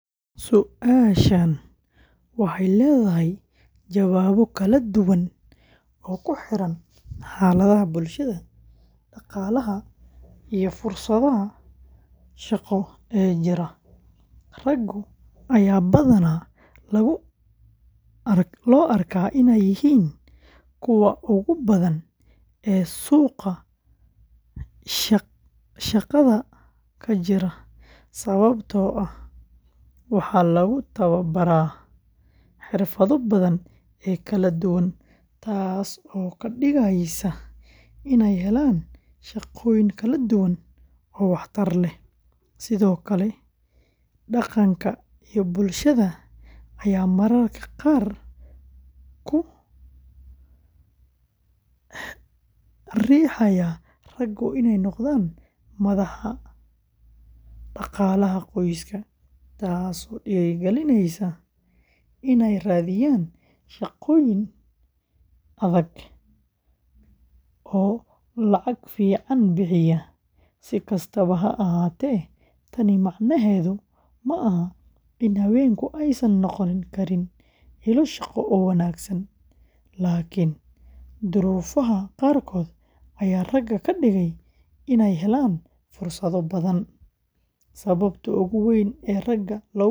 Su’aashan waxay leedahay jawaabo kala duwan oo ku xiran xaaladaha bulshada, dhaqaalaha, iyo fursadaha shaqo ee jira. Ragga ayaa badanaa lagu arkaa inay yihiin kuwa ugu badan ee suuqa shaqada ka jira, sababtoo ah waxaa lagu tababaraa xirfado badan oo kala duwan, taasoo ka dhigaysa inay helaan shaqooyin kala duwan oo waxtar leh. Sidoo kale, dhaqanka iyo bulshada ayaa mararka qaar ku riixaya ragga inay noqdaan madax dhaqaalaha qoyska, taasoo dhiirrigelisa inay raadiyaan shaqooyin adag oo lacag fiican bixiya. Si kastaba ha ahaatee, tani macnaheedu maaha in haweenku aysan noqon karin ilo shaqo oo wanaagsan, laakiin duruufaha qaarkood ayaa ragga ka dhigaya inay helaan fursado badan. Sababta ugu weyn ee ragga loogu arko ilo shaqo.